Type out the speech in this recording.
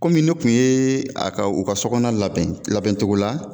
Komi ne kun yee a ka u ka so kɔɔna labɛn labɛncogo la